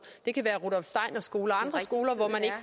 det kan være rudolf steiner skoler